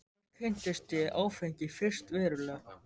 Þar kynntist ég áfengi fyrst verulega.